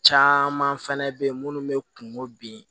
Caman fɛnɛ bɛ ye munnu bɛ kungo bin